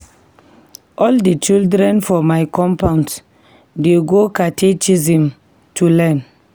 All di children for my compound dey go catechism to learn.